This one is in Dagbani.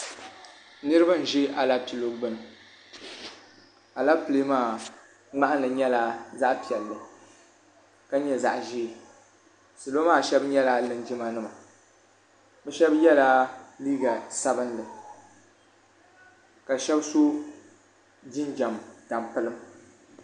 niriba n-ʒi Aleepile gbunni Aleepile maa ŋmahili nyɛla zaɣ' piɛlli ka nyɛ zaɣ' ʒee salo maa shɛba nyɛla linjima nima bɛ shɛba yela liiga sabinli ka shɛba sɔ jinjam tampilim.